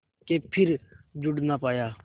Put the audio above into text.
के फिर जुड़ ना पाया